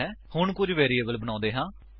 ਹੁਣ ਕੁੱਝ ਵੈਰਿਏਬਲ ਬਣਾਉਂਦੇ ਹਾਂ